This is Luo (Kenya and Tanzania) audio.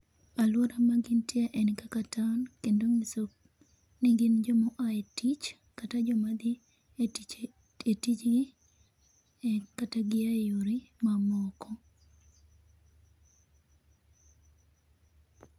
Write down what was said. Alwora ma gintie en kaka town, kendo nyiso ni gin joma o aa e tich kata joma dhi e tich e tijgi kata gi e yore mamoko.